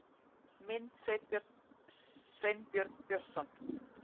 Mynd: Sveinbjörn Björnsson